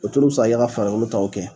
U t tulo bɛ se ka kɛ farakolo taw kɛ.